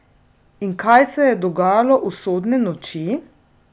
In kaj se je dogajalo usodne noči?